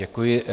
Děkuji.